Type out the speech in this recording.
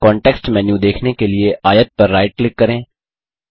context menu देखने के लिए आयत पर राइट क्लिक करें